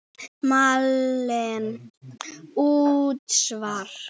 Malen: Útsvar.